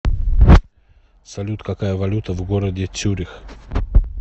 салют какая валюта в городе цюрих